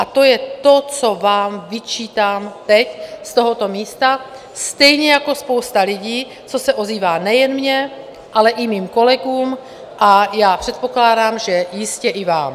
A to je to, co vám vyčítám teď z tohoto místa, stejně jako spousta lidí, co se ozývá nejen mně, ale i mým kolegům, a já předpokládám, že jistě i vám.